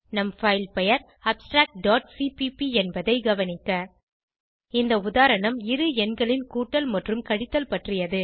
நம் பைல் பெயர் abstractசிபிபி என்பதை கவனிக்க இந்த உதாரணம் இரு எண்களின் கூட்டல் மற்றும் கழித்தல் பற்றியது